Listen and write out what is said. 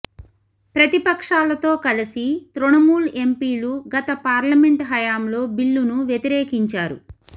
ప్రతిపక్షాలతో కలిసి తృణమూల్ ఎంపీలు గత పార్లమెంట్ హయాంలో బిల్లును వ్యతిరేకించారు